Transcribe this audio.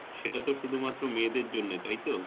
সেটা তো শুধু মাত্র মেয়েদের জন্যে তাইতো?